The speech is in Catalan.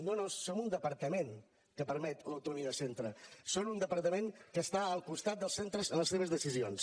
no no som un departament que permet l’autonomia de centre som un departament que està al costat dels centres en les seves decisions